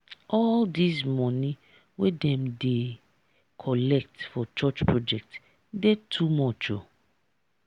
all dese moni wey dem dey collect for church project dey too much o.